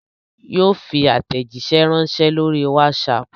Yóò fi aàtẹ̀jíṣé ránsẹ́ lórí WhatsApp